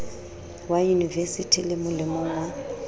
wa yunivesithi le molemong wa